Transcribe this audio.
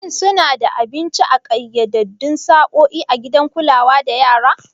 Shin suna ba da abinci a ƙayyadaddun sa'o'i a gidan kulawa da yara?